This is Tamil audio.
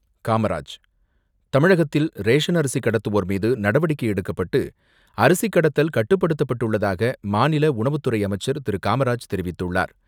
காமராஜ் தமிழகத்தில் ரேசன் அரிசி கடத்துவோர் மீது, நடவடிக்கை எடுக்கப்பட்டு, அரிசி கடத்தல் கட்டுப்படுத்தப்பட்டுள்ளதாக, மாநில உணவுத்துறை அமைச்சர் திரு.காமராஜ் தெரிவித்துள்ளார்.